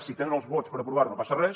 si tenen els vots per aprovar ho no passa res